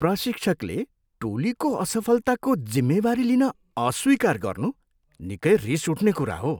प्रशिक्षकले टोलीको असफलताको जिम्मेवारी लिन अस्वीकार गर्नु निकै रिस उठ्ने कुरा हो।